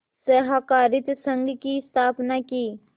सहाकारित संघ की स्थापना की